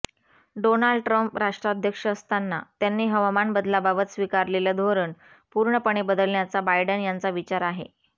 Donald Trump राष्ट्राध्यक्ष असताना त्यांनी हवामान बदलाबाबत स्वीकारलेलं धोरण पूर्णपणे बदलण्याचा बायडन यांचा विचार आहे